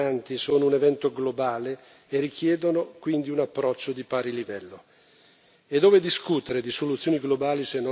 I grandi movimenti di persone, rifugiati e migranti, sono un evento globale e richiedono quindi un approccio di pari livello.